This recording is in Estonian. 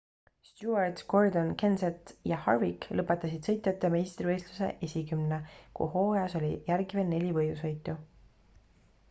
stewart gordon kenseth ja harvick lõpetasid sõitjate meistrivõistluse esikümne kui hooajas oli järgi veel neli võidusõitu